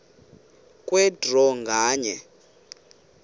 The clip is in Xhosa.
kwe draw nganye